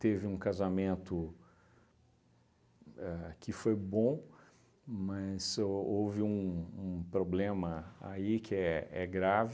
Teve um casamento ahn que foi bom, mas ho houve um um problema aí que é é grave.